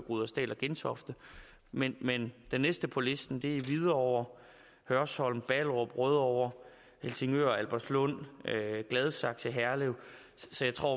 rudersdal og gentofte men men de næste på listen er hvidovre hørsholm ballerup rødovre helsingør albertslund gladsaxe herlev så jeg tror